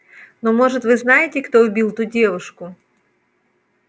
но может вы знаете кто убил ту девушку